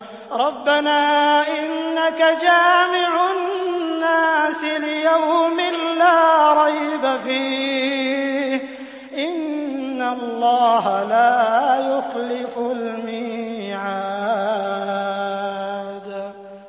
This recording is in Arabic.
رَبَّنَا إِنَّكَ جَامِعُ النَّاسِ لِيَوْمٍ لَّا رَيْبَ فِيهِ ۚ إِنَّ اللَّهَ لَا يُخْلِفُ الْمِيعَادَ